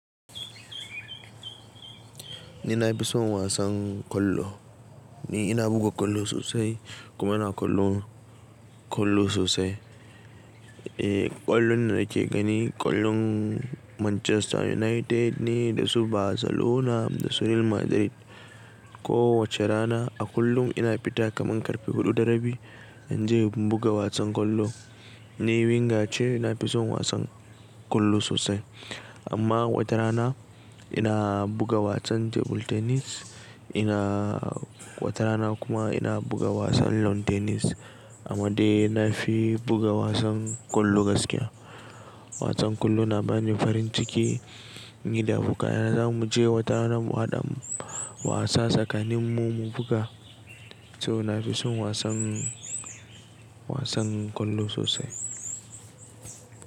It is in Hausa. Ni na fi son wasan kwallo. Ni ina buga kwallo sosai kuma ina kwallo, kwallo sosai. Eh, ƙwallon da nake gani ƙwallon Manchester United ne da su Barcelona da su Real Madrid. Ko wace rana a kullum ina fita kaman karfe huɗu da rabi in je in buga wasan kwallo. Ni Winger ce, na fi son wasan kwallo sosai. Amma wata rana ina buga wasan table tennis, ina wata rana kuma ina buga wasan lawn tennis amma dai na fi buga wasan kwallo gaskiya. Wasan kwallo na bani farin ciki, ni da abokaya na zamu je wata rana mu haɗa wasa tsakanin mu mu buga. To na fi son wasan, wasan kwallo sosai.